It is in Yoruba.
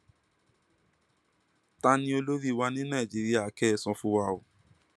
ta ni olórí wa ní nàìjíríà kẹ ẹ sọ fún wa o